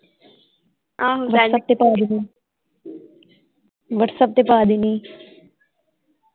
ਆਹੋ ਵਟਸਐਪ ਤੇ ਪਾ ਦੇਣੀ ਹੀ ਵਟਸਐਪ ਤੇ ਪਾ ਦੇਣੀ ਹੀ।